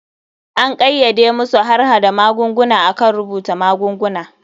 An kayyade masu harhada magunguna akan rubuta magunguna.